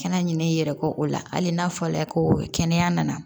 Kɛnɛ ɲinɛ i yɛrɛ kɔ o la hali n'a fɔra ko kɛnɛya nana